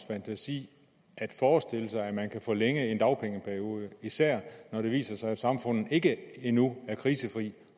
fantasi at forestille sig at man kan forlænge dagpengeperioden især når det viser sig at samfundet ikke endnu er krisefrit